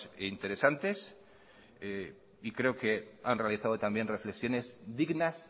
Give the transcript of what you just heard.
interesantes y creo que han realizado también reflexiones dignas